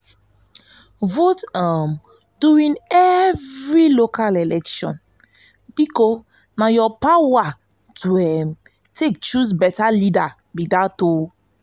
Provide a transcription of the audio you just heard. vote um during local election bikos na yur power to um take choose um beta leader